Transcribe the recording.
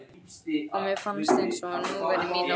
og mér fannst eins og nú væri mín nótt komin.